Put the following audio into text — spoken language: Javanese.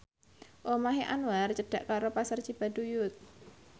omahe Anwar cedhak karo Pasar Cibaduyut